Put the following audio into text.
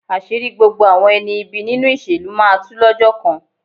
Àṣírí gbogbo àwọn ẹni ibi nínú ìṣèlú máa tu lọ́jọ́ kan.